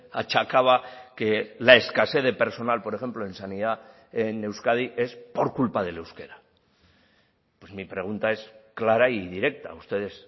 achacaba que la escasez de personal por ejemplo en sanidad en euskadi es por culpa del euskera mi pregunta es clara y directa ustedes